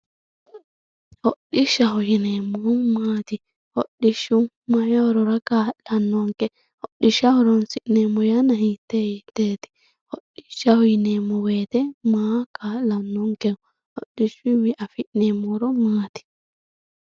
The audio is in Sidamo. hodhishshaho yineemohu maati hodhishshu mayii horora ka'lanonke hodhishsha horonsi'neemo yanna hitee hiteeti hodhishshaho yineemo woyiite maa ka'lanonkeho hodhishuyiiwii afi'neemo horo maati